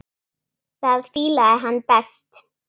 Það fílaði hann best.